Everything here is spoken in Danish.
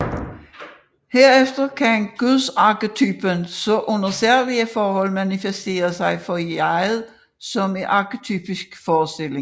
Herefter kan Gudsarketypen så under særlige forhold manifestere sig for jeget som en arketypisk forestilling